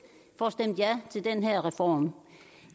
får stemt ja til den her reform